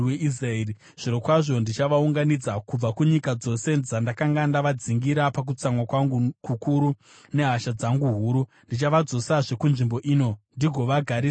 Zvirokwazvo ndichavaunganidza kubva kunyika dzose dzandakanga ndavadzingira pakutsamwa kwangu kukuru nehasha dzangu huru; ndichavadzosazve kunzvimbo ino ndigovagarisa zvakanaka.